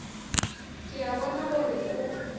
ke a bona gore o